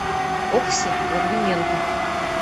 окси логвиненко